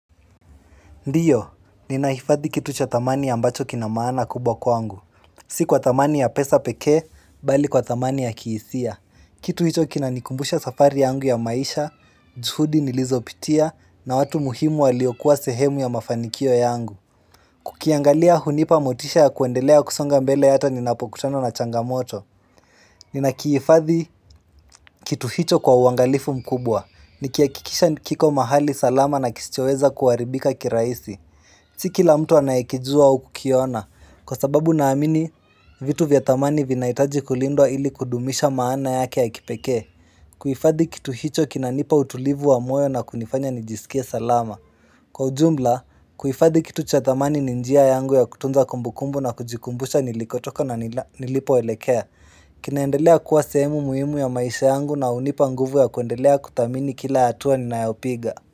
Ndiyo, ninahifadhi kitu cha thamani ambacho kina maana kubwa kwangu. Si kwa thamani ya pesa pekee, bali kwa thamani ya kihisia. Kitu hicho kinanikumbusha safari yangu ya maisha, juhudi nilizopitia, na watu muhimu waliokuwa sehemu ya mafanikio yangu. Kukiangalia hunipa motisha ya kuendelea kusonga mbele hata ninapokutana na changamoto. Ninakiifadhi kitu hicho kwa uangalifu mkubwa. Nikihakikisha ni kiko mahali salama na kisichoweza kuharibika kirahisi. Si kila mtu anayekijua au kukiona, kwa sababu naamini vitu vya thamani vinahitaji kulindwa ili kudumisha maana yake ya kipekee kuhifadhi kitu hicho kinanipa utulivu wa moyo na kunifanya nijisikie salama Kwa ujumla, kuhifadhi kitu cha thamani ni njia yangu ya kutunza kumbukumbu na kujikumbusha nilikotoka na nilipoelekea kinaendelea kuwa sehemu muhimu ya maisha yangu na hunipa nguvu ya kuendelea kuthamini kila hatua ninayopiga.